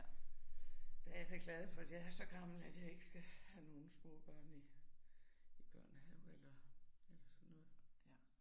Der er jeg da glad for, at jeg er så gammel, at jeg ikke skal have nogle små børn i i børnehave eller eller sådan noget